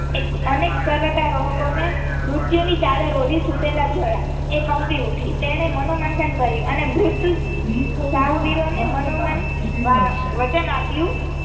અનેક પર્વતારોહક ને મૃત્યુની ચાદર ઓઢી સુતેલા જોયા તે કંપી ઉઠી તેણે મનોમંથન કર્યું અને મૃત સાહસવીરોને મનોમન વચન આપ્યું.